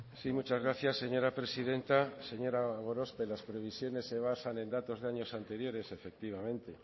sí muchas gracias señora presidenta señora gorospe las previsiones se basan en datos de años anteriores efectivamente